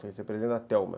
Foi ser presidente da Telma.